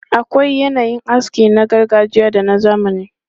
Akwai yanayin aski na gargajiya da na zamani.